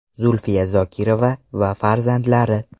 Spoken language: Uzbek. Zulfiya Zokirova va farzandlari.